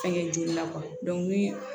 Fɛnkɛ jo na ni